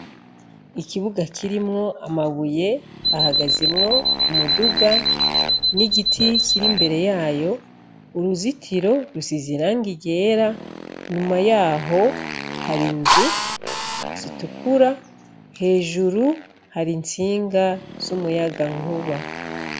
Ikibuga kirimwo amabuye ahagazemwo umuduga n' igiti kiri imbere yayo uruzitiro rusize irangi ryera nyuma yaho hari inzu zitukura hejuru hari intsinga z' umuyagankuba.